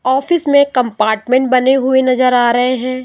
Office में compartment बने हुए नजर आ रहे हैं।